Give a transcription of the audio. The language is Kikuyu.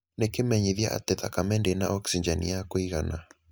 Nĩ kĩmenyithia atĩ thakame ndĩna oksijeni ya kũigana.